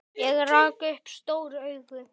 Ég rak upp stór augu.